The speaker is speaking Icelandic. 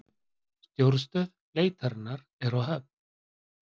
Stjórnstöð leitarinnar er á Höfn